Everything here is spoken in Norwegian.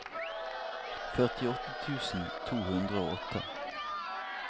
førtiåtte tusen to hundre og åtte